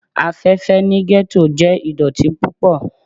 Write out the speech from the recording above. Afẹfẹ ni ghetto jẹ idọti pupọ